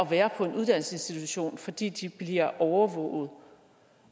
være på en uddannelsesinstitution fordi de bliver overvåget